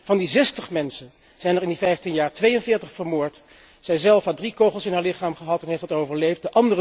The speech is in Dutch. Van die zestig mensen zijn er in die vijftien jaar 42 vermoord. Zijzelf heeft drie kogels in haar lichaam gehad en heeft dat overleefd.